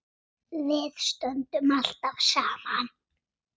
Við stöndum alltaf saman